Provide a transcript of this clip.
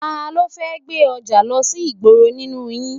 Talọ́ fẹ́ gbé ọjà lọ sí ìgboro nínú yìí?